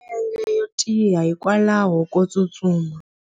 U na milenge yo tiya hikwalaho ko tsustuma.